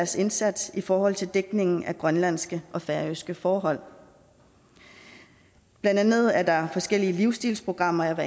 sin indsats i forhold til dækningen af grønlandske og færøske forhold blandt andet er der forskellige livsstilsprogrammer